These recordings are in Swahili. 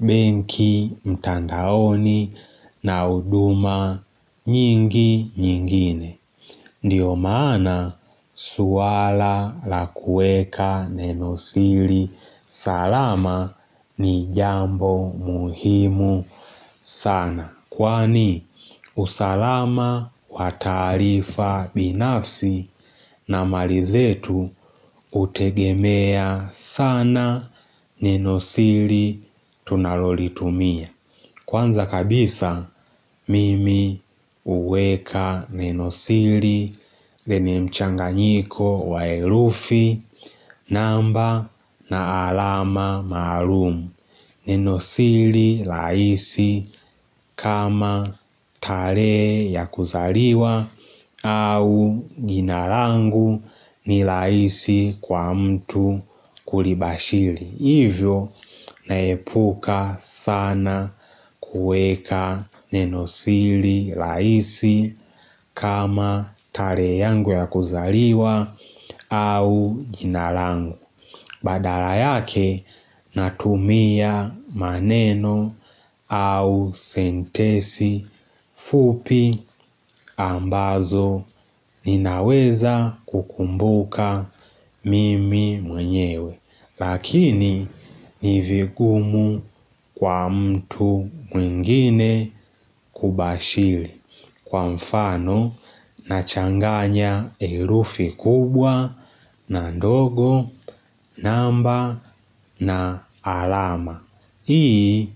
benki, mtandaoni na huduma nyingi nyingine. Ndiyo maana swala la kueka nenosili salama ni jambo muhimu sana. Kwani usalama wa taarifa binafsi na mali zetu hutegemea sana nenosili tunalolitumia Kwanza kabisa mimi huweka nenosili lenye mchanganyiko wa herufi namba na alama maalum Nenosili rahisi kama talehe ya kuzariwa au jina rangu ni rahisi kwa mtu kulibashili. Hivyo naepuka sana kueka nenosili rahisi kama talehe yangu ya kuzariwa au jina rangu. Badala yake natumia maneno au sentesi fupi ambazo ninaweza kukumbuka mimi mwenyewe. Lakini ni vingumu kwa mtu mwingine kubashiri. Kwa mfano na changanya erufi kubwa na ndogo, namba na alama. Hii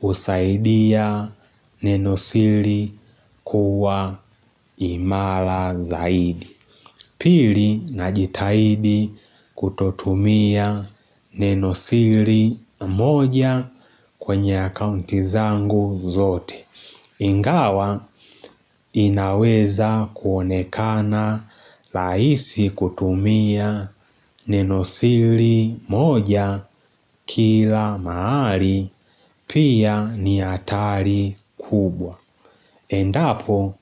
husaidia nenosiri kuwa imala zaidi. Pili najitahidi kutotumia nenosiri moja kwenye akaunti zangu zote. Ingawa inaweza kuonekana rahisi kutumia nenosili moja kila mahari pia ni hatari kubwa. Endapo,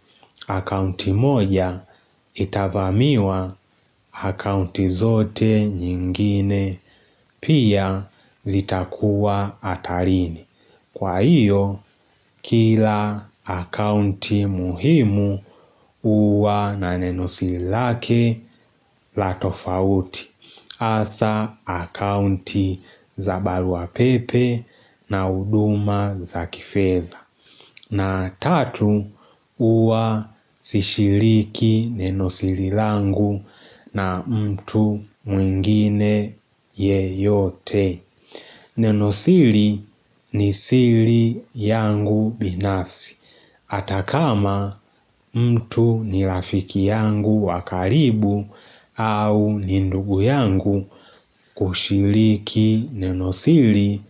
akaunti moja itavamiwa hakaunti zote nyingine pia zitakuwa hatarini. Kwa hiyo, kila akaunti muhimu huwa na nenosili lake la tofauti, hasa akaunti za barua pepe na huduma za kifedha. Na tatu, huwa sishiriki nenosili langu na mtu mwingine yeyote. Nenosili ni sili yangu binafsi. Ata kama mtu ni rafiki yangu wa karibu au ni ndugu yangu kushiriki nenosiri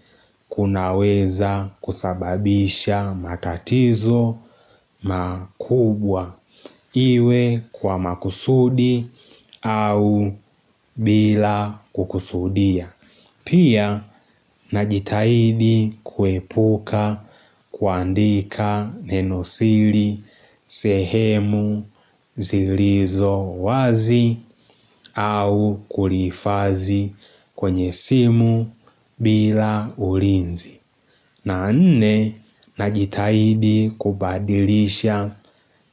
kunaweza kusababisha matatizo makubwa iwe kwa makusudi au bila kukusudia. Pia, najitahidi kuepuka kuandika nenosiri sehemu zilizo wazi au kulifazi kwenye simu bila ulinzi. Na nne, najitahidi kubadilisha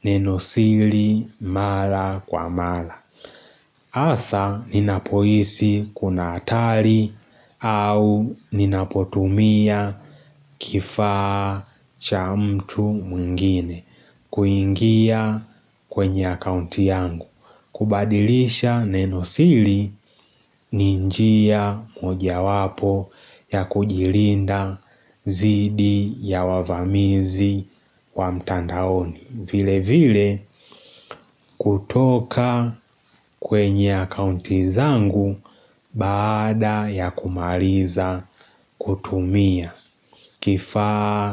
nenosiri mala kwa mala. Asa ninapohisi kuna atari au ninapotumia kifaa cha mtu mwingine kuingia kwenye akaunti yangu. Kubadilisha nenosiri ni njia moja wapo ya kujilinda zidi ya wavamizi wa mtandaoni. Vile vile kutoka kwenye akaunti zangu baada ya kumaliza kutumia kifaa.